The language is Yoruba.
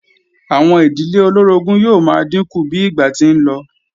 Àwọn ìdílé olóorogún yóò máa dínkù bí ìgbà ti ń lọ